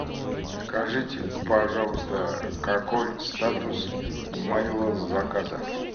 скажите пожалуйста какой статус моего заказа